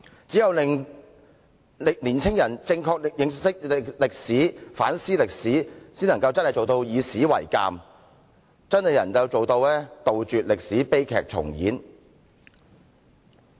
只有令青年人正確認識歷史，反思歷史，方能做到以史為鑒，杜絕歷史悲劇重演。